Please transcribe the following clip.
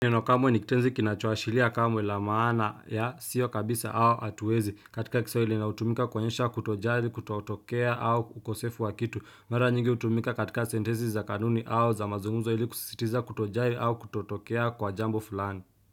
Neno kamwe ni kitenzi kinachoashilia kamwe la maana ya sio kabisa au atuezi katika kisawili na utumika kuonyesha kutojali kutootokea au ukosefu wa kitu mara nyingi utumika katika sentezi za kanuni au za mazungumzo ili kusisitiza kutojali au kutotokea kwa jambo fulani.